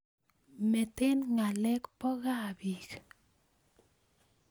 Meten ngalek bo gaa biik